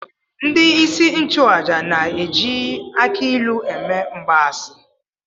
Ndị isi nchụaja na-eji akị ilu eme mgbaasị